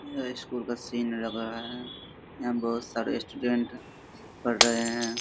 यह स्कूल का सीन लग रहा है। यहाँ बोहोत सारे स्टूडेंट पढ़ रहे हैं।